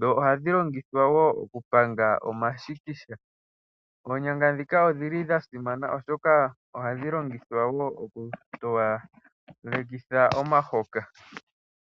Dho ohadhi longithwa wo okupanga omashikisha. Oonyanga ndhika odha simana wo, oshoka ohadhi longithwa okutowalekitha omahoka.